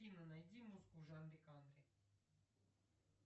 афина найди музыку в жанре кантри